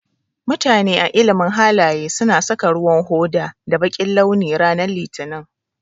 Mutane a ilimin halaye su na saka ruwan hoda da bakin launi ranan litinin.